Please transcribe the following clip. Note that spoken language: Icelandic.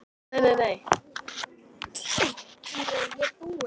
Unni og Ásu.